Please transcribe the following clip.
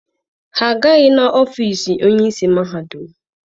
Ha agaghị n'ọfiisi onye isi mahadum.